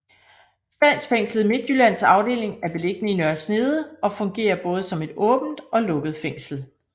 Statsfængslet Midtjyllands afdeling er beliggende i Nørre Snede og fungerer både som et åbent og lukket fængsel